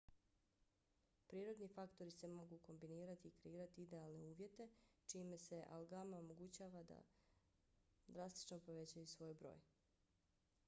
prirodni faktori se mogu kombinirati i kreirati idealne uvjete čime se algama omogućava da drastično povećaju svoj broj